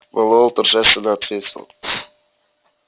мэллоу торжественно ответил